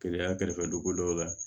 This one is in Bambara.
Keleya kɛrɛfɛ donko dɔw la